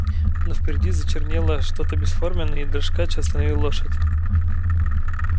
но впереди зачернело что то бесформенное и дрожкач остановил лошадь